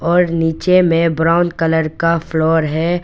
और नीचे में ब्राउन कलर का फ्लोर है।